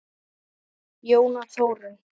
Jóna Þórunn.